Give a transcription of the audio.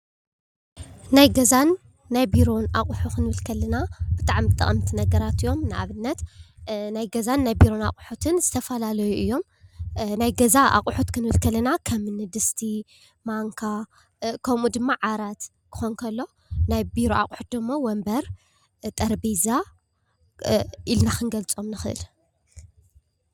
ናይ ገዛን ናይ ቢሮን ኣቑሑ ክንብል ከለና ብጣዕሚ ጠቐምቲ ነገራት እዮም። ንኣብነት ናይ ገዛን ናይ ቢሮ ኣቑሑትን ዝተፈላለዩ እዮም። ናይ ገዛ ኣቑሑት ክንብል ከለና ከምኒ ድስቲ፣ ማንካ ከምኡ ድማ ዓራት ክኾን ከሎ ናይ ቢሮ ኣቑሑት ድማ ወንበር፣ ጠረጴዛ ኢልና ክንገልጾም ንኽእል።